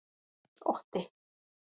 Otti